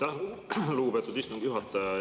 Aitäh, lugupeetud istungi juhataja!